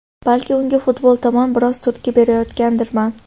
Balki unga futbol tomon biroz turtki berayotgandirman.